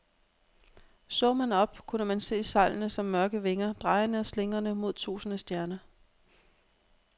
Så man op, kunne man se sejlene som mørke vinger, drejende og slingrende mod tusinde stjerner.